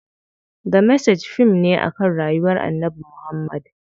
The Message fim ne akan rayuwar Annabi Muhammad.